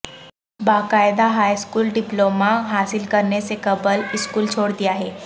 باقاعدہ high school diploma حاصل کرنے سے قبل اسکول چھوڑ دیا ہے